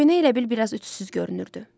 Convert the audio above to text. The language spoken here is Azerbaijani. Köynək elə bil bir az ütsüz görünürdü.